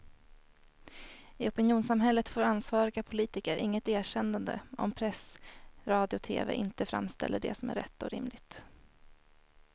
I opinionssamhället får ansvariga politiker inget erkännande om press, radio och tv inte framställer det som rätt och rimligt.